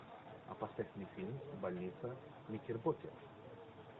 а поставь мне фильм больница никербокер